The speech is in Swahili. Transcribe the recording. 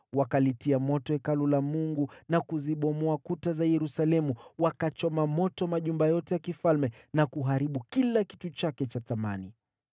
Wakalichoma Hekalu la Mungu na kuzibomoa kuta za Yerusalemu, wakachoma moto majumba yote ya kifalme na kuharibu kila kitu chake cha thamani.